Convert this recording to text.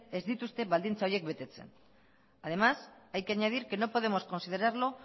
ez dituzte baldintza horiek betetzen además hay que añadir que no podemos considerarlo